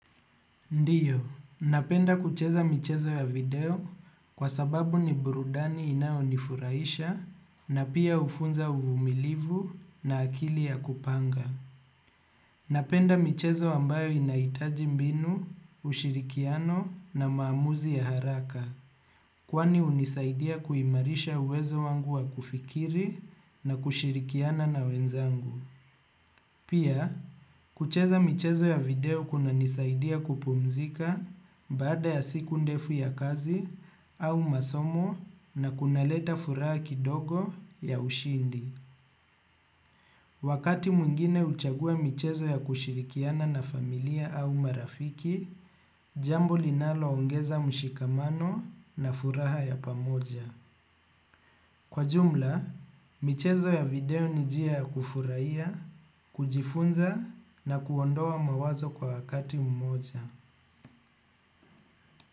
Ndiyo, napenda kucheza michezo ya video kwa sababu ni burudani inayonifurahisha, na pia hufunza uvumilivu na akili ya kupanga. Napenda michezo ambayo inahitaji mbinu, ushirikiano na maamuzi ya haraka, kwani hunisaidia kuimarisha uwezo wangu wa kufikiri na kushirikiana na wenzangu. Pia, kucheza michezo ya video kunanisaidia kupumzika baada ya siku ndefu ya kazi au masomo na kunaleta furaha kidogo ya ushindi. Wakati mwingine huchagua michezo ya kushirikiana na familia au marafiki, jambo linaloongeza mshikamano na furaha ya pamoja. Kwa jumla michezo ya video ni njia ya kufurahia, kujifunza na kuondoa mawazo kwa wakati mmoja.